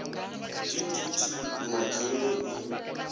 d d t madzinge i